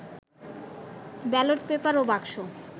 ballot paper ও বাক্স